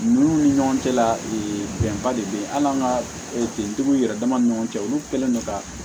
Ninnu ni ɲɔgɔn cɛla la bɛnba de be yen hali an ka tigiw yɛrɛ dama ni ɲɔgɔn cɛ olu kɛlen don ka